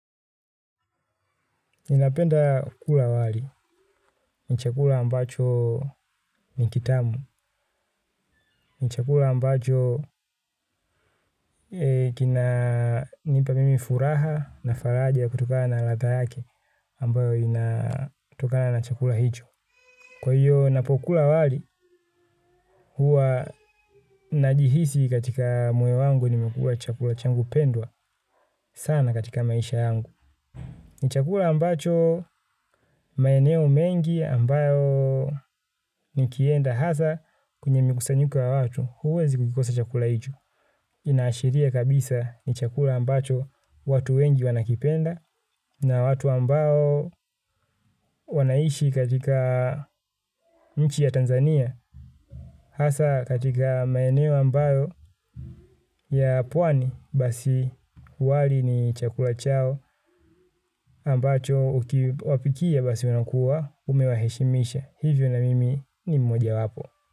Ninapenda kula wali, ni chakula ambacho ni kitamu, ni chakula ambacho kinanipa mimi furaha na faraja kutokana na ladha yake ambayo inatokana na chakula hicho. Kwa hiyo napokula wali huwa najihisi katika moyo wangu nimekula chakula changu pendwa sana katika maisha yangu. Ni chakula ambacho maeneo mengi ambayo nikienda hasa kwenye mikusanyiko ya watu huwezi kukikosa chakula hicho. Inaashiria kabisa ni chakula ambacho watu wengi wanakipenda na watu ambao wanaishi katika nchi ya Tanzania. Hasa katika maeneo ambayo ya pwani basi wali ni chakula chao ambacho ukiwapikia basi unakuwa umewaheshimisha. Hivyo na mimi ni mmoja wapo.